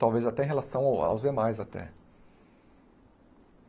Talvez até em relação aos demais, até.